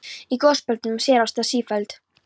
Í gosbeltunum á sér stað sífelld